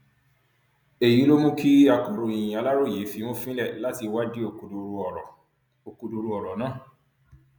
èyí ló mú kí akọròyìn aláròye fimú fínlẹ láti wádìí òkodoro ọrọ òkodoro ọrọ náà